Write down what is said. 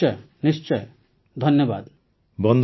ନିଶ୍ଚୟ ନିଶ୍ଚୟ ଧନ୍ୟବାଦ ସାର